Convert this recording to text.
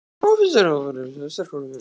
Finnst þér hópurinn vera sterkari en í fyrra?